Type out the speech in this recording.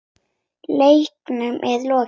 Leiknum er lokið.